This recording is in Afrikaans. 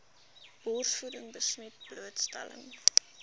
borsvoeding besmet blootstelling